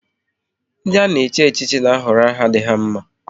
Ndị a ga-echi echichi na ahọrọ aha dị ha mma